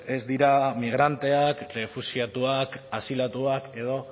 ez dira migranteak errefuxiatuka asilatuak edo